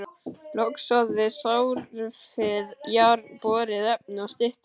Logsoðið, sorfið járn, borið efni og styttur.